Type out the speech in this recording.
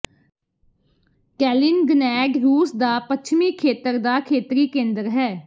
ਕੈਲਿਨਗਨੈਡ ਰੂਸ ਦਾ ਪੱਛਮੀ ਖੇਤਰ ਦਾ ਖੇਤਰੀ ਕੇਂਦਰ ਹੈ